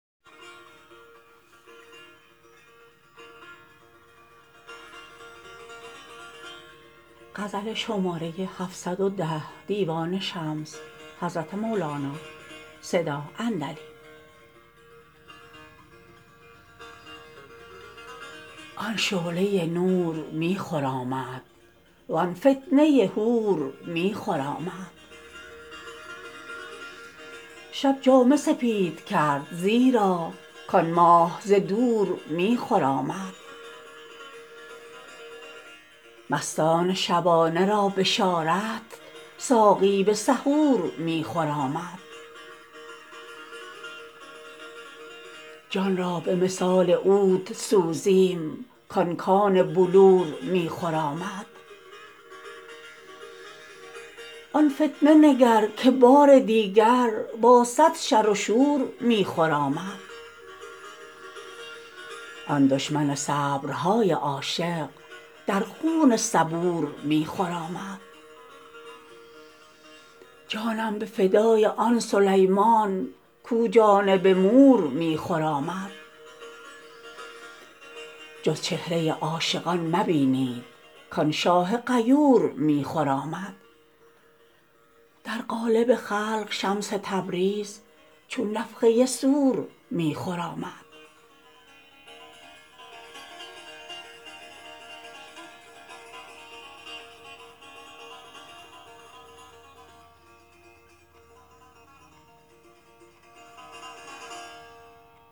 آن شعله نور می خرامد وان فتنه حور می خرامد شب جامه سپید کرد زیرا کان ماه ز دور می خرامد مستان شبانه را بشارت ساقی به سحور می خرامد جان را به مثال عود سوزیم کان کان بلور می خرامد آن فتنه نگر که بار دیگر با صد شر و شور می خرامد آن دشمن صبرهای عاشق در خون صبور می خرامد جانم به فدای آن سلیمان کو جانب مور می خرامد جز چهره عاشقان مبینید کان شاه غیور می خرامد در قالب خلق شمس تبریز چون نفخه صور می خرامد